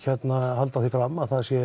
halda því fram að það sé